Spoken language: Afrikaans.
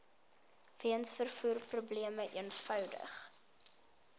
weens vervoerprobleme eenvoudig